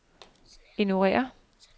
ignorér